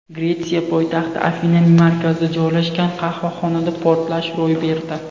Gretsiya poytaxti Afinaning markazida joylashgan qahvaxonada portlash ro‘y berdi.